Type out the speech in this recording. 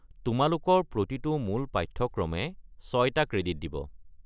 তোমালোকৰ প্ৰতিটো মূল পাঠ্যক্ৰমে ছয়টা ক্ৰেডিট দিব।